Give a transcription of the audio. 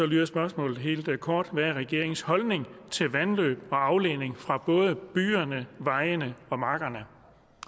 lyder spørgsmålet helt kort hvad er regeringens holdning til vandløb og afledning fra både byerne vejene og markerne